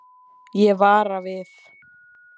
Ég vara við.